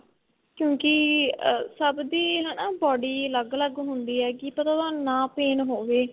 ਕਿਉਂਕਿ ਸਭ ਦੀ ਹਨਾ body ਅਲੱਗ ਅਲੱਗ ਹੁੰਦੀ ਏ ਕੀ ਪਤਾ ਤੁਹਾਨੂੰ ਨਾ pain ਹੋਵੇ